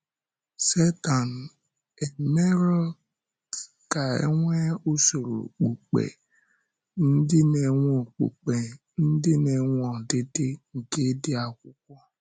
Sẹ́tán emèrọ̀ ka e nwee usoro okpùkpe ndị na-enwe okpùkpe ndị na-enwe ọdịdị nke ịdị Akwụkwọ.